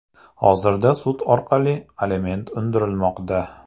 Hozirda sud orqali aliment undirilmoqda.